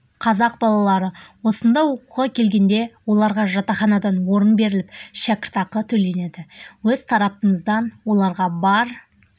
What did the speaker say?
қазақ балалары осында оқуға келгенде оларға жатақханадан орын беріліп шәкіртақы төленеді өз тарапымыздан оларға бар